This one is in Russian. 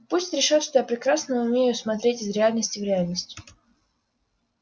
пусть решат что я прекрасно умею смотреть из реальности в реальность